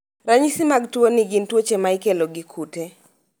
Ranyisi mag tuo ni gin tuoche ma ikelo gi kute